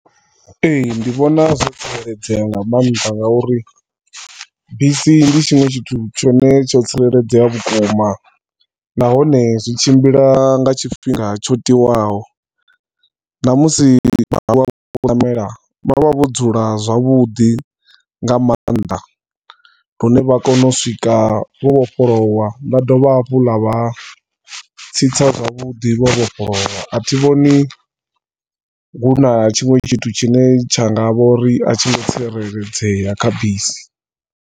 Ee, ndi vhona zwo tsireledzea nga maanḓa ngauri bisi ndi tshinwe tshithu tshine tsho tsireledzea vhukuma, na hone zwitshimbila nga tshifhinga tshi tiwaho. Na musi vha tshi ṋamela, vha vha vho dzula zwavhuḓi nga maanḓa lune vha kona u swika vho vhofholowa vha dovha hafhu vha vha tsitsa zwavhuḓi vho vhofholowa, athi vhoni hu na tshinwe tshithu tshine tsha nga vho ri atshi ngo tsireledzea kha bisi.